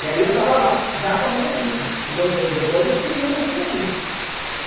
E aí eu tava lá, já com a minha filha, que dois meses depois eu fiz a minha filha vir.